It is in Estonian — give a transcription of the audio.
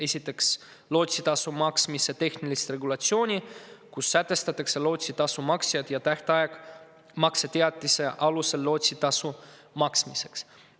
Esiteks, lootsitasu maksmise tehnilist regulatsiooni, kus sätestatakse lootsitasu maksjad ja tähtaeg makseteatise alusel lootsitasu maksmiseks.